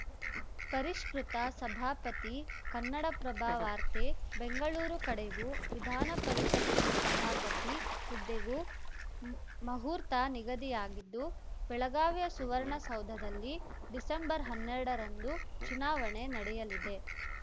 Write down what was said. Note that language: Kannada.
ಪರಿಷ್ಕೃತ ಸಭಾಪತಿ ಕನ್ನಡಪ್ರಭ ವಾರ್ತೆ ಬೆಂಗಳೂರು ಕಡೆಗೂ ವಿಧಾನಪರಿಷತ್ತಿನ ಸಭಾಪತಿ ಹುದ್ದೆಗೂ ಮಹೂರ್ತ ನಿಗದಿಯಾಗಿದ್ದು ಬೆಳಗಾವಿಯ ಸುವರ್ಣಸೌಧದಲ್ಲಿ ಡಿಸೆಂಬರ್ಹನ್ನೆರಡರಂದು ಚುನಾವಣೆ ನಡೆಯಲಿದೆ